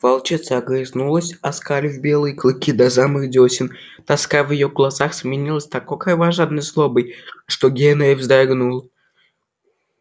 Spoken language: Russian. волчица огрызнулась оскалив белые клыки до самых дёсен тоска в её глазах сменилась такой кровожадной злобой что генри вздрогнул